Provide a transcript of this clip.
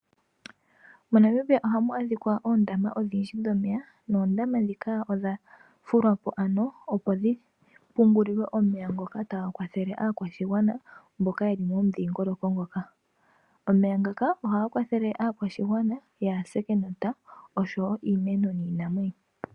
MoNamibia ohamu adhika oondama odhindji dhomeya , noondama dhika odha fulwa po ano opo dhi pungulilwe omeya ngoka taga kwathele aakwashigwana mboka yeli momudhingoloko ngoka. Omeya ngaka ohaga kwathele aakwashigwana yaase kenota osho wo iimeno niinamwenyo.